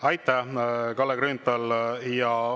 Aitäh, Kalle Grünthal!